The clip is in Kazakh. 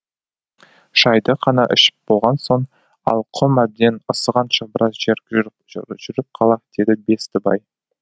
шайды қана ішіп болған соң ал құм әбден ысығанша біраз жер жүр жүріп жүріп қалайық деді бестібай